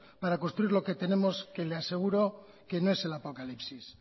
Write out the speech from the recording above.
para construir lo que tenemos que le aseguro que no es el apocalipsis